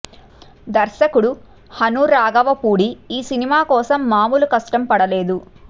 దర్శకుడు హను రాఘవపూడి ఈ సినిమా కోసం మామూలు కష్టం పడలేదు